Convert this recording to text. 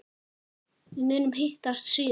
Við munum hittast síðar.